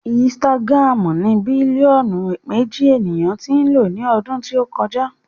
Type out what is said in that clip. Instagram ní bílíọ̀nù méjì ènìyàn tí ń lò ó ní ọdún tí o kọjá